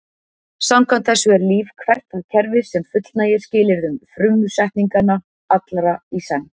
Samkvæmt þessu er líf hvert það kerfi sem fullnægir skilyrðum frumsetninganna, allra í senn.